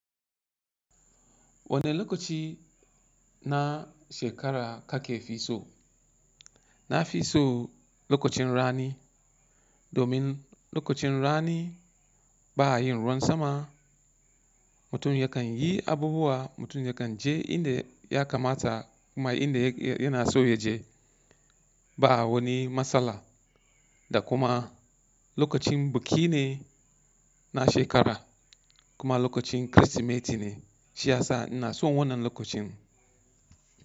Wane lokaci na shekara kake fi so? Na fi so lokocin rani domin lokocin rani ba'a yin ruwan sama. Mutum yakan yi abubuwa, mutum yakan je inde ya kamata kuma inde yek-yakamata so ya je ba wani matsala. Da kuma lokacin buki ne na shekara kuma lokacin Krisimeti ne. Shi yasa ina son wannan lokacin.